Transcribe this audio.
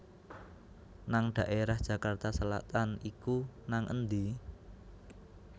nang daerah Jakarta Selatan iku nang endi